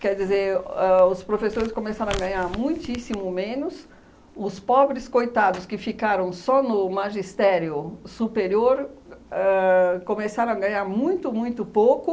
Quer dizer, ãh os professores começaram a ganhar muitíssimo menos, os pobres coitados que ficaram só no magistério superior ãh começaram a ganhar muito, muito pouco.